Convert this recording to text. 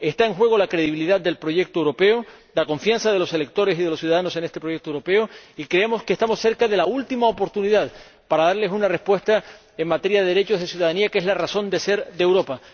Está en juego la credibilidad del proyecto europeo, la confianza de los electores y de los ciudadanos en este proyecto europeo, y creemos que estamos cerca de la última oportunidad para darles una respuesta en materia de derechos de ciudadanía, que es la razón de ser de Europa.